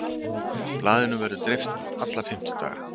Blaðinu verður dreift alla fimmtudaga